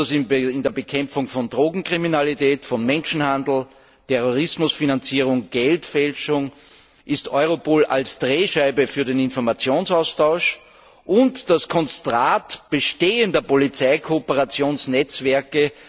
Besonders bei der Bekämpfung von Drogenkriminalität, Menschenhandel, Terrorismusfinanzierung, Geldfälschung fungiert Europol als Drehscheibe für den Informationsaustausch und das Konzentrat bestehender Polizeikooperationsnetzwerke.